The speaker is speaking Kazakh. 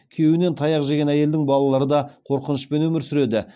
күйеуінен таяқ жеген әйелдің балалары да қорқынышпен өмір сүреді